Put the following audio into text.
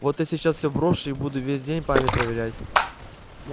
вот я сейчас всё брошу и буду весь день память проверять